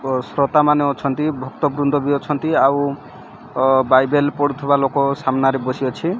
ଓ ଶ୍ରତାମାନେ ଅଛନ୍ତି ଭକ୍ତବୃନ୍ଦ ବି ଅଛନ୍ତି ଆଉ ଓ ବାଇବେଲ୍ ପଢୁଥିବା ଲୋକ ସାମ୍ନାରେ ବସି ଅଛି।